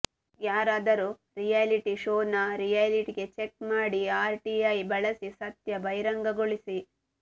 ಯಾರಾದರೂ reality show ನ reality check ಮಾಡಿ ಆರ್ ಟಿಐ ಬಳಸಿ ಸತ್ಯ ಬಹಿರಂಗಗೊಳಿಸಿ